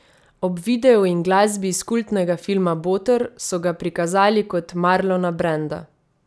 Ob videu in glasbi iz kultnega filma Boter, so ga prikazali kot Marlona Branda.